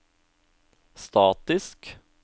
statisk